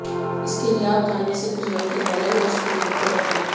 इसके लिए आप खाने से कुछ घंटे पहले ओट्स को भिगो कर रख दें